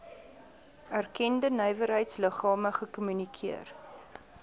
erkende nywerheidsliggame gekommunikeer